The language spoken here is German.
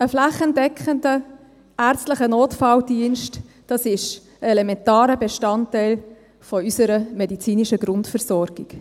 Ein flächendeckender, ärztlicher Notfalldienst ist elementarer Bestandteil unserer medizinischen Grundversorgung.